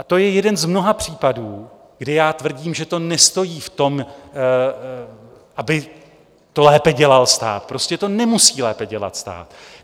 A to je jeden z mnoha případů, kdy já tvrdím, že to nestojí v tom, aby to lépe dělal stát, prostě to nemusí lépe dělat stát.